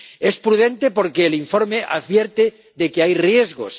Es prudente, porque el informe advierte de que hay riesgos.